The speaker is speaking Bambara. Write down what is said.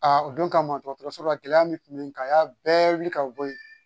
o don kama dɔgɔtɔrɔso la gɛlɛya min kun bɛ n kan a y'a bɛɛ wili ka bɔ ye